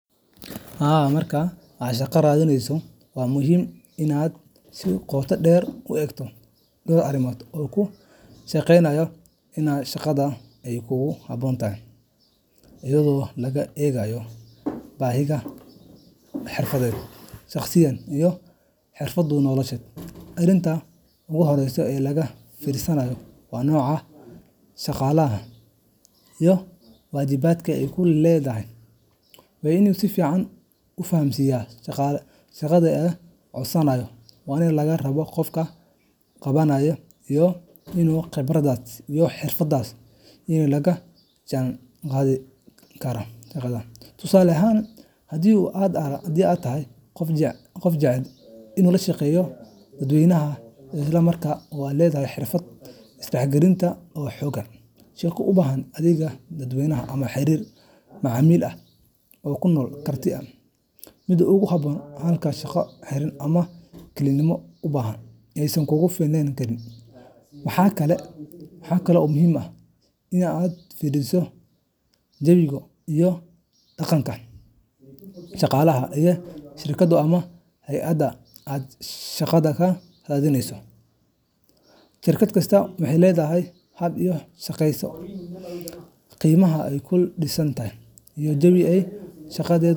Haa marka aad shaqo raadinayso, waxaa muhiim ah inaad si qoto dheer u eegto dhowr arrimood oo kuu sheegaya in shaqadaasi ay kugu habboon tahay, iyadoo laga eegayo baahiyahaaga xirfadeed, shakhsiyadeed, iyo hadafyada noloshaada. Arrinta ugu horreysa ee laga fiirsado waa nooca shaqada iyo waajibaadka ay ku lug leedahay. Waa in aad si fiican u fahamtaa shaqada aad codsanayso, waxa laga rabo qofka qabanaya, iyo in khibradahaaga iyo xirfadahaaga ay la jaanqaadi karaan shaqadaas. Tusaale ahaan, haddii aad tahay qof jecel la shaqeynta dadweynaha, isla markaana aad leedahay xirfado isgaarsiineed oo xooggan, shaqo u baahan adeeg dadweyne ama xiriir macaamiil ayaa kuu noqon karta mid kugu habboon, halka shaqo xiran ama kelinimo u baahan aysan kugu fiicnaan karin. Waxaa kale oo muhiim ah in aad fiiriso jawiga iyo dhaqanka shaqada ee shirkadda ama hay’adda aad shaqada ka raadinayso. Shirkad kasta waxay leedahay hab ay u shaqeyso, qiimayaal ay ku dhisan tahay. , iyo jawi ay shaqaalaheedu.